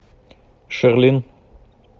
шарлин